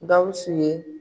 Gawsu ye.